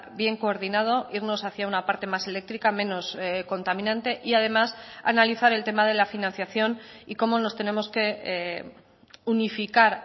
bien coordinado irnos hacia una parte más eléctrica menos contaminante y además analizar el tema de la financiación y cómo nos tenemos que unificar